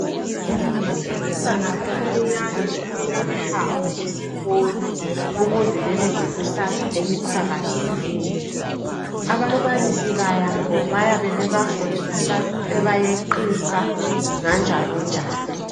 Abantwana abancinyane kumele behambe esikolo ukuze babe lekusasa eqhakazileyo. Ababalisi babo bayabe bebafundisa , bebayeqisa. Nganjalonjalo.